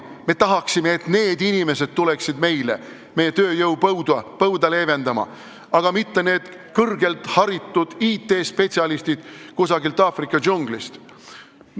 Me tahaksime, et need inimesed tuleksid meie tööjõupõuda leevendama, mitte kõrgelt haritud IT-spetsialistid kusagilt Aafrika džunglist.